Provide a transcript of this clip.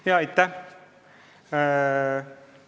Jaa, aitäh!